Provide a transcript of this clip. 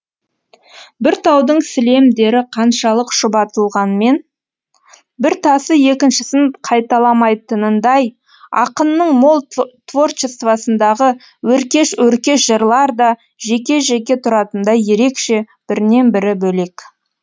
бір таудың сілемдері қаншалық шұбатылғанмен бір тасы екіншісін қайталамайтынындай ақынның мол творчествосындағы өркеш өркеш жырлар да жеке жеке тұратындай ерекше бірінен бірі бөлек